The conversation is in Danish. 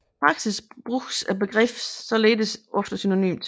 I praksis bruges begreberne således ofte synonymt